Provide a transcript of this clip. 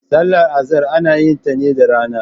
Sallar Azahar ana yin ta ne da rana.